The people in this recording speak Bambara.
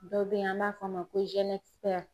Dɔ bɛe yen an b'a f'a ma ko zenɛsifɛri